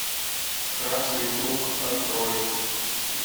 красный круг открой